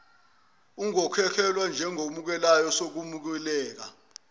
ungemukelwa njengokhokhelwayo sekunenqubekela